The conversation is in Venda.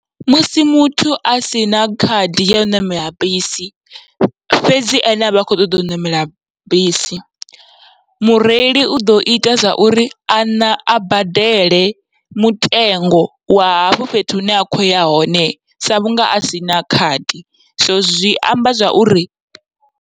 Musi muthu asina khadi yau ṋamela bisi fhedzi ene avha a kho ṱoḓa u ṋamela bisi, mureili uḓo ita zwa uri a ṋa a badele mutengo wa hafho fhethu hune a khoya hone, sa vhunga asina khadi so zwi amba zwa uri.